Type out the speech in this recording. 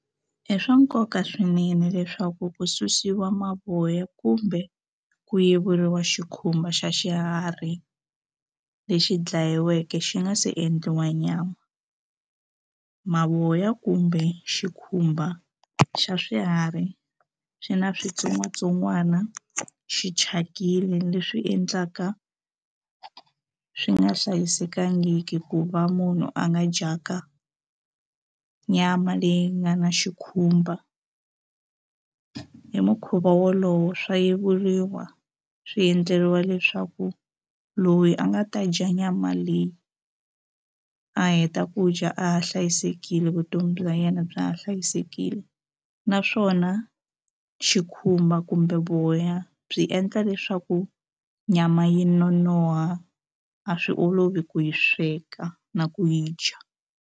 I swa nkoka swinene leswaku ku susiwa mavoya kumbe ku yiveriwa xikhumba xa xiharhi lexi dlayiweke xi nga se endliwa nyama mavoya kumbe xikhumba xa swiharhi swi na switsongwatsongwana xi thyakile leswi endlaka swi nga hlayisekangiki ku va munhu a nga dyanga nyama leyi nga na xikhumba hi mukhuva wolowo swa yiveriwa swi endleriwa leswaku loyi a nga ta dya nyama leyi a heta ku dya a ha hlayisekile vutomi bya yena bya ha hlayisekile naswona xikhumba kumbe voya byi endla leswaku nyama yi nonoha a swi olovi ku yi sweka na ku yi dya.